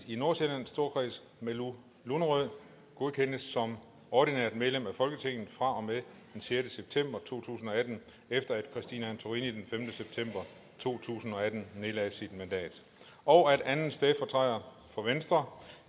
i nordsjællands storkreds malou lunderød godkendes som ordinært medlem af folketinget fra og med den sjette september to tusind og atten efter at christine antorini den femte september to tusind og atten nedlagde sit mandat og at anden stedfortræder for venstre